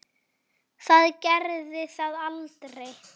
Það gerði það aldrei.